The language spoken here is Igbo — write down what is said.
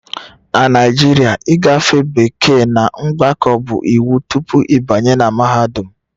Na Naijiria ịgafe bekee na mgbakọ bụ iwu tupu ịbanye na mahadum